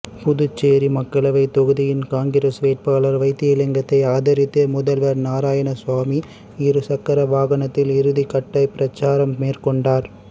புதுச்சேரி மக்களவை தொகுதியின் காங்கிரஸ் வேட்பாளர் வைத்திலிங்கத்தை ஆதரித்து முதல்வர் நாராயணசாமி இரு சக்கர வாகனத்தில் இறுதிகட்ட பிரச்சாரம் மேற்கோண்டார்